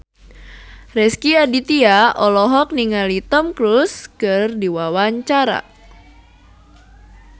Rezky Aditya olohok ningali Tom Cruise keur diwawancara